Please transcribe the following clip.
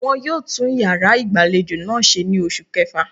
Won yóò tún yàrá ìgbàlejò náà ṣe ní oṣù kẹfà